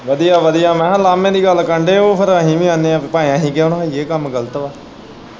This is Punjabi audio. ਵਧੀਆ ਵਧੀਆ ਮੈਂ ਕਿਹਾ ਲਾਮੇ ਦੀ ਗੱਲ ਕਰਨ ਦੇ ਓ ਫੇਰ ਅਹੀ ਵੀ ਆਨੇ ਆ ਭਾਏ ਅਹੀ ਕਿਉਂ ਨਾ ਹੋਈਏ ਏਹ ਕੰਮ ਗਲਤ ਵਾ।